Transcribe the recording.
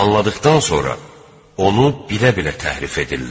anladıqdan sonra onu bilə-bilə təhrif edirlər.